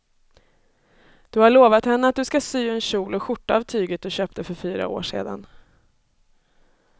Du har lovat henne att du ska sy en kjol och skjorta av tyget du köpte för fyra år sedan.